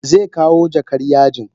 Zekawo jakar yajin.